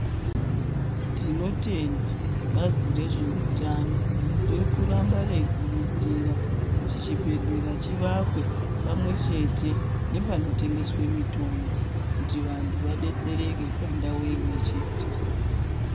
Tinotenda bazi re zveutano riri kuramba reyi kurudzira kuti chi bhedhlera chiwakwe pamwe chete nepano tengeswe mitombo kuti vantu vadetsereke pa ndau imwe chete.